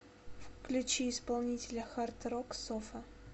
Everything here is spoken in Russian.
включи исполнителя хард рок софа